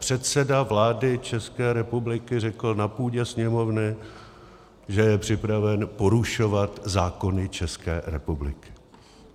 Předseda vlády České republiky řekl na půdě Sněmovny, že je připraven porušovat zákony České republiky.